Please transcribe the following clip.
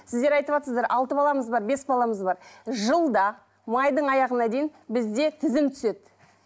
сіздер айтыватсыздар алты баламыз бар бес баламыз бар жылда майдың аяғына дейін бізде тізім түседі